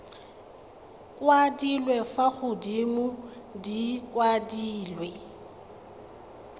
kwadilwe fa godimo di kwadilwe